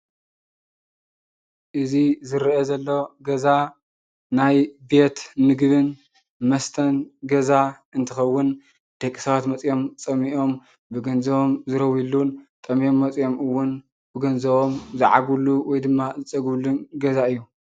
እዚ ዝረአ ዘሎ ገዛ ናይ ቤት ምግብን መስተን ገዛ እንትከውን ደቂ ሰባት መፅኦም ፀሚኦም ብገንዘቦን ዝረውይሉን ጠምዮም መፅኦም እውን ብገንዘቦም ዝዓግብሉ ወይ ድማ ዝፀግብሉን ገዛ እዩ፡፡